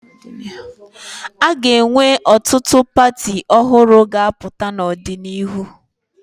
A ga-enwe ọtụtụ pati ọhụrụ ga-apụta n'ọdịnihu.